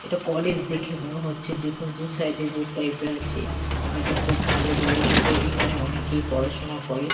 এটা কলেজ দেখে মনে হচ্ছে দেখুন দু সাইড -এ বোর্ড টাইপ -এর আছে আর এটা খুব ভালো জায়গা এসে এখানে অনেকেই পড়াশুনা করে।